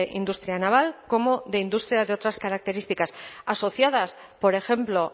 industrial naval como de industria de otras características asociadas por ejemplo